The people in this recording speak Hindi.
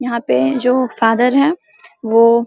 यहां पे जो फादर है वो --